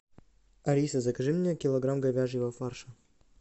алиса закажи мне килограмм говяжьего фарша